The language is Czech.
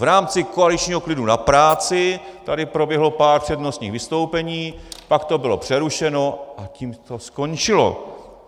V rámci koaličního klidu na práci tady proběhlo pár přednostních vystoupení, pak to bylo přerušeno, a tím to skončilo.